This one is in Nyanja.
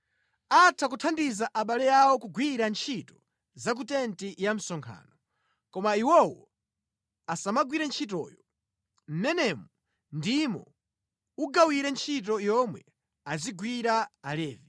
Atha kuthandiza abale awo kugwira ntchito za ku tenti ya msonkhano, koma iwowo asamagwire ntchitoyo. Mmenemu ndimo ugawire ntchito yomwe azigwira Alevi.”